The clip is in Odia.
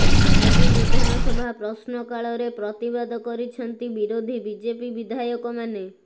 ଆଜି ବିଧାନସଭା ପ୍ରଶ୍ନକାଳରେ ପ୍ରତିବାଦ କରିଛନ୍ତି ବିରୋଧୀ ବିଜେପି ବିଧାୟକମାନେ